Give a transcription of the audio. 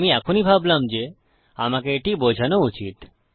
আমি এখনই ভাবলাম যে আমাকে এটি বোঝানো উচিত